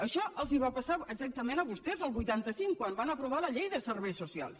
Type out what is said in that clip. això els va passar exactament a vostès al vuitanta cinc quan van aprovar la llei de serveis socials